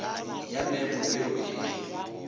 ya memo ye o e